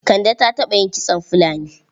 Kande ta taɓa yin kitson fulani.